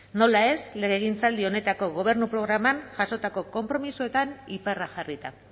nola ez legegintzaldi honetako gobernu programan jasotako konpromisoetan iparra jarrita